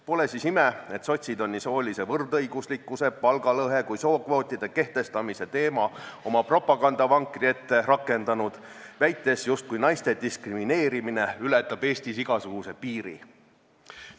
Pole siis ime, et sotsid on nii soolise võrdõiguslikkuse, palgalõhe kui sookvootide kehtestamise teema oma propagandavankri ette rakendanud, väites, justkui ületaks naiste diskrimineerimine Eestis igasuguse piiri.